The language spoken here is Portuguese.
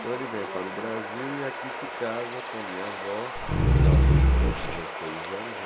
Então ele vem para o Brasil e aqui se casa com a minha avó, que casou-se aos dezesseis anos.